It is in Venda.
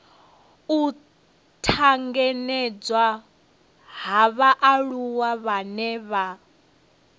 u tanganedzwa ha vhaaluwa vhane